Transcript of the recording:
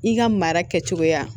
I ka mara kɛcogoya